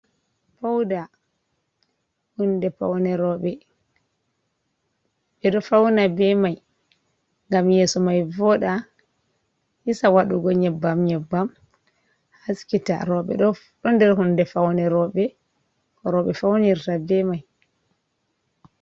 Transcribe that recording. "Pauda" hunde faune roɓe, ɓeɗo fauna be mai ngam yeso mai voɗa hisa waɗugo nyebbam nyebbam haskita roɓe ɗof ɗo nder hunde faune roɓe ko roɓe faunirta be mai.